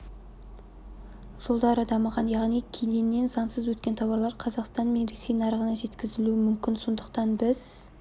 жолдары дамыған яғни кеденнен заңсыз өткен тауарлар қазақстан мен ресей нарығына жеткізілуі мүмкін сондықтан біз